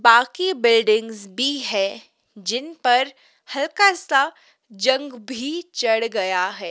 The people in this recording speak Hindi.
बाकी बिल्डिंग भी है जिन पर हल्का सा जंग भी चढ़ गया है।